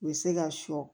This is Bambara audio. U bɛ se ka sɔ